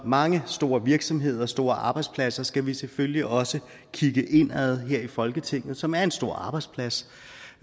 mange store virksomheder og store arbejdspladser skal vi selvfølgelig også kigge indad her i folketinget som også er en stor arbejdsplads